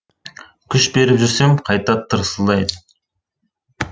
күш беріп жүрсем қайта тырсылдайды